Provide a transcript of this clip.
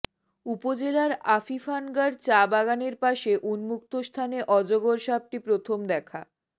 উপজেলার আফিফানগর চা বাগানের পাশের উন্মুক্ত স্থানে অজগর সাপটি প্রথম দেখা